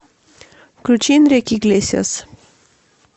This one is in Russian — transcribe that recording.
включи энрике иглесиас